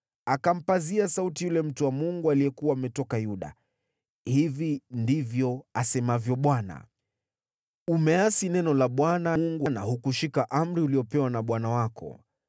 Akampazia sauti yule mtu wa Mungu aliyekuwa ametoka Yuda, “Hivi ndivyo asemavyo Bwana : ‘Umeasi neno la Bwana na hukushika amri uliyopewa na Bwana Mungu wako,